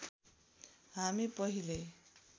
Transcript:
हामी पहिले